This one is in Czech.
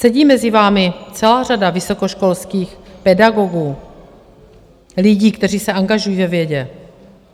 Sedí mezi vámi celá řada vysokoškolských pedagogů, lidí, kteří se angažují ve vědě.